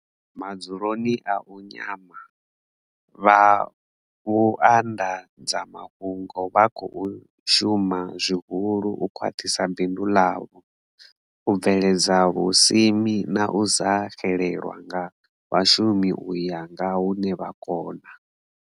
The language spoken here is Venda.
Madzuloni a u nyama, vha vhuanḓadzamafhungo vha khou shuma zwihulu u khwaṱhisa bindu ḽavho, u bveledza vhusimi na u sa xelelwa nga vhashumi u ya nga hune vha kona.